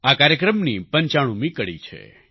આ કાર્યક્રમની 95મી કડી છે